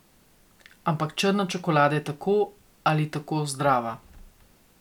Ampak črna čokolada je tako ali tako zdrava ...